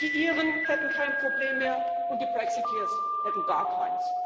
die Iren hätten kein Problem mehr, und die Brexiteers hätten gar keins.